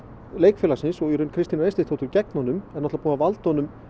leikfélagsins og Kristínar Eysteinsdóttur gegn honum er búið að valda honum